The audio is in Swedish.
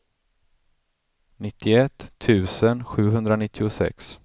nittioett tusen sjuhundranittiosex